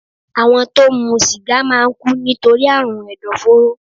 Àwọn tó ń mu sìgá máà ń kú nítorí àrùn ẹ̀dọ̀fóró